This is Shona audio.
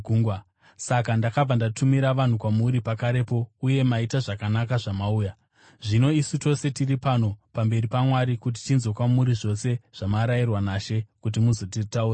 Saka ndakabva ndatumira vanhu kwamuri pakarepo, uye maita zvakanaka zvamauya. Zvino isu tose tiri pano pamberi paMwari kuti tinzwe kwamuri zvose zvamarayirwa naShe kuti muzotitaurira.”